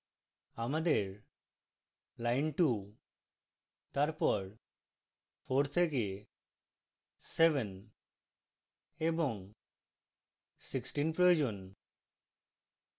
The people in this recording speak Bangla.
আমাদের lines 2 তারপর 4 থেকে 7 এবং 16 প্রয়োজন